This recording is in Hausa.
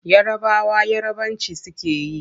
Yarabawa Yarabanci suke yi.